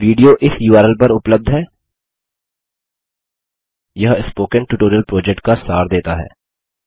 video इस URL पर उपलब्ध है यह स्पोकन ट्यूटोरियल प्रोजेक्ट का सार देता है